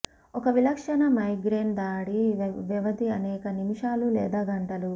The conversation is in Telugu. ఒక విలక్షణ మైగ్రేన్ దాడి వ్యవధి అనేక నిమిషాలు లేదా గంటలు